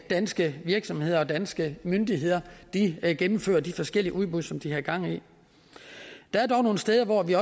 danske virksomheder og danske myndigheder gennemfører de forskellige udbud som de har gang i der er dog nogle steder hvor vi